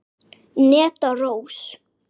Hneta Rós.